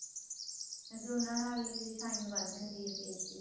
ਵੈਸੇ ਉਹਨਾ ਨਾਲ ਹੀ shine ਵੱਧ ਜਾਂਦੀ ਏ face ਦੀ